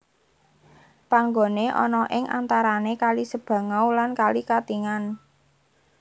Panggone ana ing antarane kali Sebangau lan kali Katingan